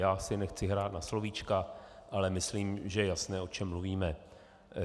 Já si nechci hrát na slovíčka, ale myslím, že je jasné, o čem mluvíme.